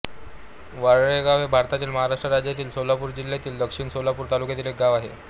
वारळेगाव हे भारतातील महाराष्ट्र राज्यातील सोलापूर जिल्ह्यातील दक्षिण सोलापूर तालुक्यातील एक गाव आहे